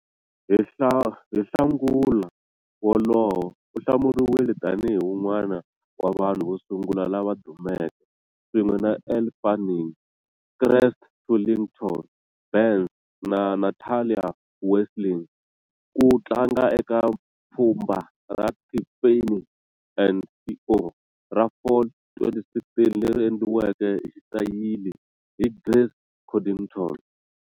Hi Nhlangula wolowo, u hlawuriwile tanihi un'wana wa vanhu vo sungula lava dumeke, swin'we na Elle Fanning, Christy Turlington Burns, na Natalie Westling, ku tlanga eka pfhumba ra Tiffany and Co. ra Fall 2016 leri endliweke hi xitayili hi Grace Coddington.